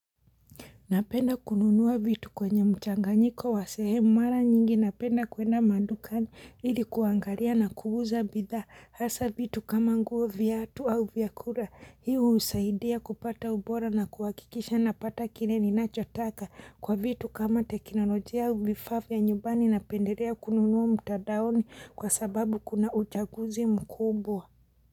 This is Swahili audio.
Napenda kununua vitu kwenye mchanganyiko wa sehemu mara nyingi napenda kwenda madukani ili kuangalia na kuuza bidhaa hasa vitu kama nguo viatu au vyakula hii husaidia kupata ubora na kuhakikisha napata kile ninachotaka kwa vitu kama teknolojia au vifaa vya nyumbani napendelea kununua mtadaoni kwa sababu kuna uchaguzi mkubwa.